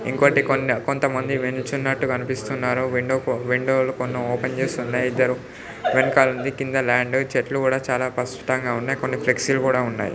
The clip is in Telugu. ఇంకొటి కొన్ని కొంతమంది నించున్నట్టుగా అనిపిస్తున్నారు విండో కు విండోలు కొన్ని ఓపెన్ చేసున్నాయి. ఇద్దరు వెనుకానుంది కింద ల్యాండు చెట్లు కూడా చాలా స్పష్టంగా ఉన్నాయ్ కొన్ని ఫ్లెక్సీ లు కూడా ఉన్నాయ్.